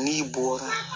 N'i bɔra